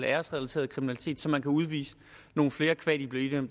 æresrelateret kriminalitet så man kan udvise nogle flere qua de bliver